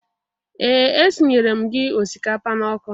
Ee! Esinyere m gị ọsikapa n'ọkụ.